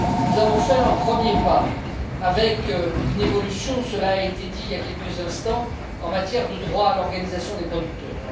Nous avons fait un premier pas, avec une évolution cela a été dit, il y a quelques instants en matière de droits conférés aux organisations de producteurs.